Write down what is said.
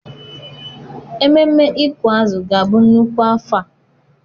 Ememme ịkụ azụ ga-abụ nnukwu afọ a.